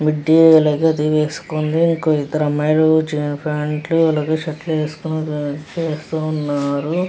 Midi అది వేసుకుని ఇద్దరు అమ్మాయిలు జీన్ పాంట్ లు అలాగే షర్ట్స్ వేసుకుని చూస్తూ ఉన్నారు.